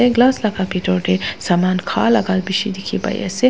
glass laka bitor te saman khan laka bishi dikhi pai ase.